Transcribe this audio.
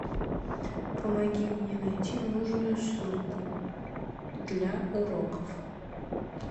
помоги мне найти нужную ссылку для уроков